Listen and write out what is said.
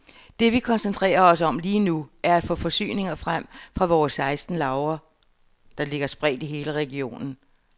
Det vi koncentrerer os om lige nu, er at få forsyninger frem fra vores seksten lagre, der ligger spredt i hele regionen.